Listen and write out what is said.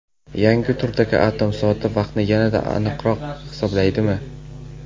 Yangi turdagi atom soati vaqtni yanada aniqroq hisoblaydimi?.